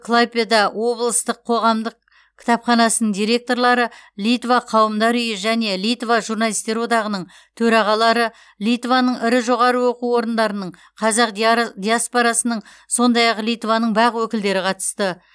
клайпеда облыстық қоғамдық кітапханасының директорлары литва қауымдар үйі және литва журналистер одағының төрағалары литваның ірі жоғары оқу орындарының қазақ диаспорасының сондай ақ литваның бақ өкілдері қатысты